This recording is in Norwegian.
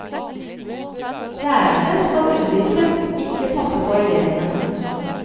Lærerne skal undervise, ikke passe på elevene.